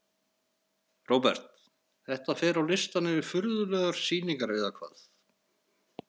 Róbert: Þetta fer á listann yfir furðulegar sýningar eða hvað?